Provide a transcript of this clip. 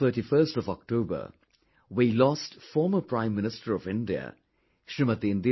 On the 31st of October we lost former Prime Minister of India, Smt